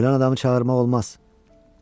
Ölən adamı çağırmaq olmaz.